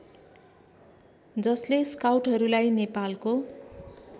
जसले स्काउटहरूलाई नेपालको